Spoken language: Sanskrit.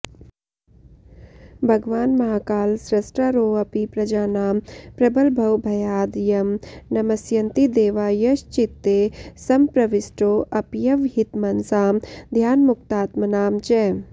भगवान महाकाल स्रष्टारोऽपि प्रजानां प्रबलभवभयाद् यं नमस्यन्ति देवा यश्चित्ते सम्प्रविष्टोऽप्यवहितमनसां ध्यानमुक्तात्मनां च